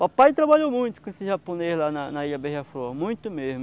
Papai trabalhou muito com esse japonês lá na na Ilha Beija-Flor, muito mesmo.